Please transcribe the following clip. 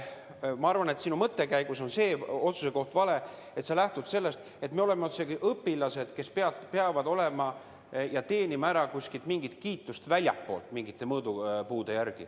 Ma arvan, et sinu mõttekäigus on see otsusekoht vale, et sa lähtud sellest, et me oleme otsekui õpilased, kes peavad teenima ära kiituse kuskilt väljastpoolt mingite mõõdupuude järgi.